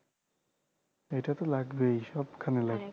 এটা ত লাগবেই সবখানে লাগবে